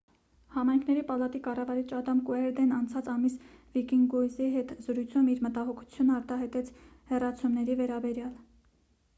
համայնքների պալատի կառավարիչ ադամ կուերդեն անցած ամիս վիկինյուզի հետ զրույցում իր մտահոգությունն արտահայտեց հեռացումների վերաբերյալ